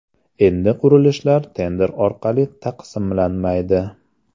Endi qurilishlar tender orqali taqsimlanmaydi.